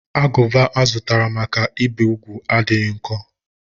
Agụba azụtara maka ibi úgwù adịghị nkọ.